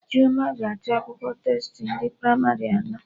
Chioma ga-achọ akwụkwọ testi ndị pramarị anọ